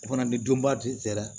O fana ni donba de sera